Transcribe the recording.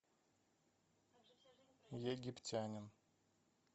египтянин